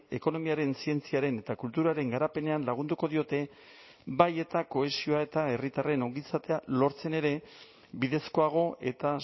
ekonomiaren zientziaren eta kulturaren garapenean lagunduko diote bai eta kohesioa eta herritarren ongizatea lortzen ere bidezkoago eta